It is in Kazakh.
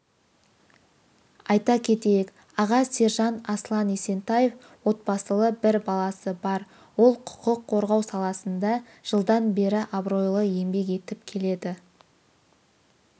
айта кетейік аға сержант аслан есентаев отбасылы бір баласы бар ол құқық қорғау саласында жылдан бері абыройлы еңбек етіп келеді